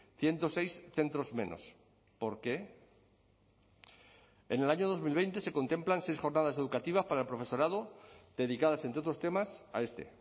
ciento seis centros menos por qué en el año dos mil veinte se contemplan seis jornadas educativas para el profesorado dedicadas entre otros temas a este